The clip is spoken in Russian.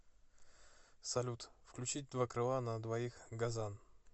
салют включить два крыла на двоих газан